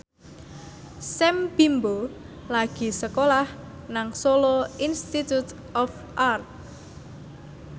Sam Bimbo lagi sekolah nang Solo Institute of Art